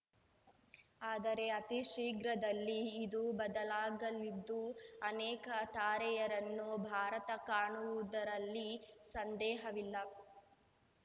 ಆದರೆ ಅತಿಶೀಘ್ರದಲ್ಲಿ ಇದು ಬದಲಾಗಲಿದ್ದು ಅನೇಕ ತಾರೆಯರನ್ನು ಭಾರತ ಕಾಣುವುದರಲ್ಲಿ ಸಂದೇಹವಿಲ್ಲ